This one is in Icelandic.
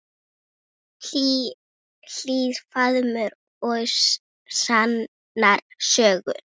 Hlýr faðmur og sannar sögur.